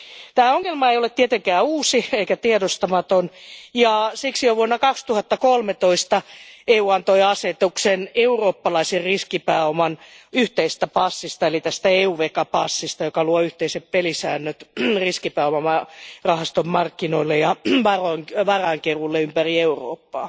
Tämä ongelma ei ole tietenkään uusi eikä tiedostamaton, ja siksi jo vuonna 2013 EU antoi asetuksen eurooppalaisen riskipääoman yhteisestä passista eli EuVECA passista, joka luo yhteiset pelisäännöt riskipääomarahastomarkkinoille ja varainkeruulle ympäri Eurooppaa.